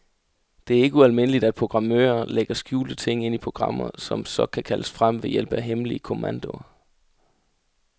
Det er ikke ualmindeligt, at programmører lægger skjulte ting ind i programmer, som så kan kaldes frem ved hjælp af hemmelige kommandoer.